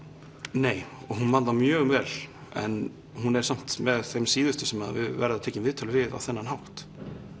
nei og hún man það mjög vel en hún er samt með þeim síðustu sem að verða tekin viðtöl við á þennan hátt